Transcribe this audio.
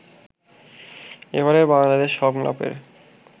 এবারের বাংলাদেশ সংলাপের